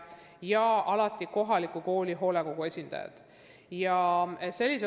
Samuti on alati osalenud kohaliku kooli hoolekogu esindajad.